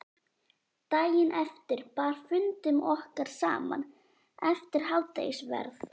Daginn eftir bar fundum okkar saman eftir hádegisverð.